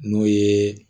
N'o ye